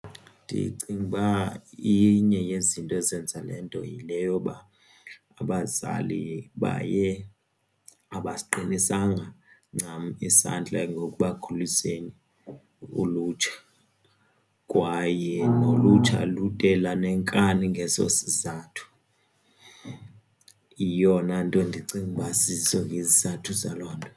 Ndicinga uba inye yezinto ezenza le nto yile yoba abazali baye abasiqinisanga ncam isandla ngokubakhuliseni ulutsha kwaye nolutsha lude lanenkani ngeso sizathu. Yiyona nto ndicinga uba siso isizathu saloo nto.